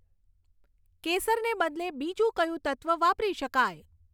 કેસરને બદલે બીજું કયું તત્વ વાપરી શકાય